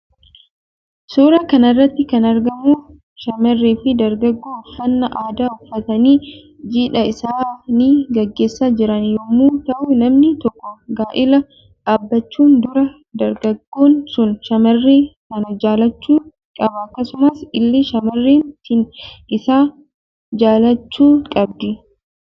Suuraa kanarratti kan argamu shamarree fi dargaggoo uffanna aada uffatanii jidha isaani gaggeessa jiran yommuu ta'u namni tokko gaa'ela dhaabbachuun dura dargaggoon sun shamarree sana jaallachu qaba akkasumas ille shamarreen sin isa jaallachuu qabdi.